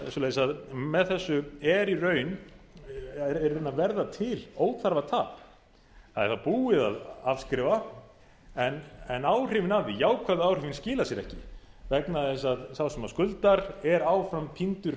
svoleiðis að með þessu er í raun að verða til óþarfa tap það er búið að afskrifa en áhrifin af því jákvæðu áhrifin skila sér ekki vegna þess að sá sem skuldar er áfram týndur